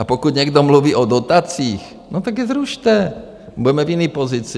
A pokud někdo mluví o dotacích, no tak je zrušte, budeme v jiné pozici.